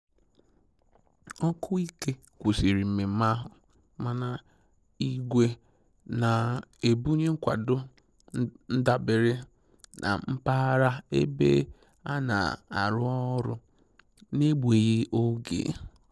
Oku ike kwụsịrị mmemme ahụ, mana igwe na-ebunye nkwado ndabere na mpaghara ebe a na-arụ ọrụ n'egbughị oge.